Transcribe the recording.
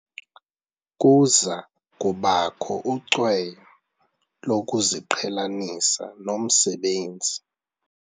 Kuza kubakho ucweyo lokuziqhelanisa nomsebenzi.